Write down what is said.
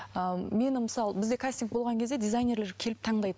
ыыы мені мысалы бізде кастинг болған кезде дизайнерлер келіп таңдайды